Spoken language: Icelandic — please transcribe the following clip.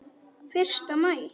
Fyrsta maí.